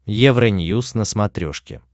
евроньюз на смотрешке